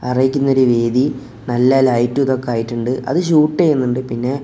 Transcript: അറിയിക്കുന്ന ഒരു വേദി നല്ല ലൈറ്റ് ഇതൊക്കെയായിട്ടുണ്ട് അത് ഷൂട്ട് ചെയ്യുന്നുണ്ട് പിന്നെ --